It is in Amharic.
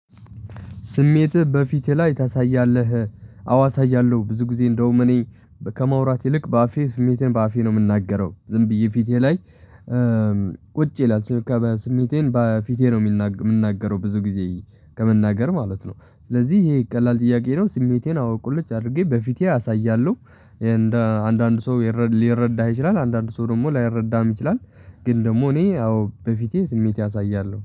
ስሜትህ በፊቴ ላይ ታሳያለህ? አዎ አሳያለሁ ብዙ ጊዜ እንደውም እኔ ከማውራት ይልቅ በአፌ ስሜቴን በአፌ ነው የምናገረው ዝም ብዬ ፊቴ ላይ ቁጭ ይላል። ስሜቴን በፊቴ ነው የምንናገረው ብዙ ጊዜ ከመናገር ማለት ነው ስለዚህ ይሄ ቀላል ጥያቄ ነው ስሜቴን አዎ ቁልጭ አድርጌ በፊቴ አሳያለሁ። እንደ አንዳንድ ሰው ሊረዳህ ይችላል አንዳንድ ሰው ደግሞ ላይረዳም ይችላል። ግን ደግሞ እኔ አዎ በፊቴ ስሜት አሳያለሁ